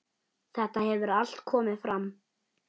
Þetta hefur allt komið fram.